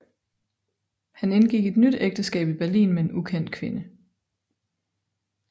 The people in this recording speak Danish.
Han indgik et nyt ægteskab i Berlin med en ukendt kvinde